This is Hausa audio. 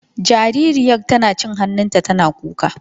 Jaririyar tana cin hannunta tana kuka.